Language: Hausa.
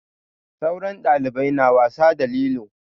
Sauran ɗalibai na wasa da lilo.